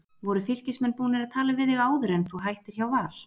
Voru Fylkismenn búnir að tala við þig áður en að þú hættir hjá Val?